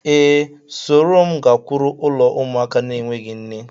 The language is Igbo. Ee, soro m gakwuru ụlo ụmụaka n'enweghi nne